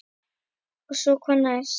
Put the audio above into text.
Og svo hvað næst?